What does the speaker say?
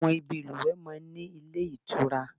Àwọn ibi ìlùwẹ̀ wà nílé ìtura